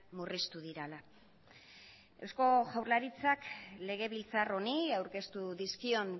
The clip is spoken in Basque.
murriztu direla eusko jaurlaritzak legebiltzar honi aurkeztu dizkion